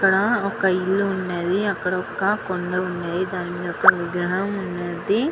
ఇక్కడ ఒక కొండల్లు వున్నాయ్ ఇక్కడ ఒక విగ్రహం వున్నద్ది.